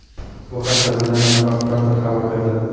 Bu haqda Beeline aloqa operatori xabar berdi.